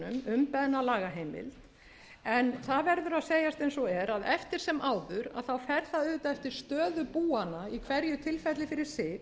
segjast eins og er að eftir sem áður fer það auðvitað eftir stöðu búanna í hverju tilfelli fyrir sig